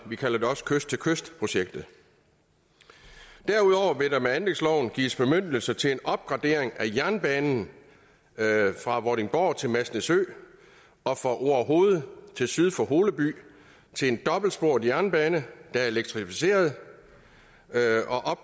vi kalder det også kyst til kyst projektet derudover vil der med anlægsloven gives bemyndigelse til en opgradering af jernbanen fra vordingborg til masnedø og fra orehoved til syd for holeby til en dobbeltsporet jernbane der er elektrificeret